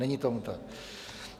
Není tomu tak.